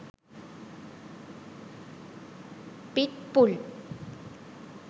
pit bull